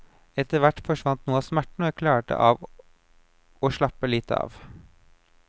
Etter hvert forsvant noe av smerten og jeg klarte av å slappe litt av.